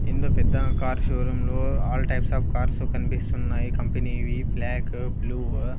ఏందో పెద్ద కారు షోరూంలు ఆల్ టైప్స్ ఆఫ్ కార్స్ కనిపిస్తున్నాయి కంపెనీవి బ్లాక్ బ్లూ .